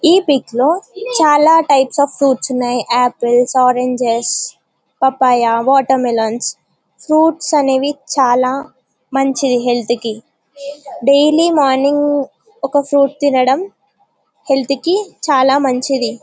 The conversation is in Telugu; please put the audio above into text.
ఈ పిక్ లో చాలా టైప్స్ అఫ్ ఫ్రూప్ట్స్ ఉన్నాయి apple oranges papaya watermelon fruits అనేది చాలా మంచిది హెల్త్ కి డైలీ మార్నింగ్ ఒక ఫ్రూట్ తినడం హెల్త్ కి చాలా మంచిది.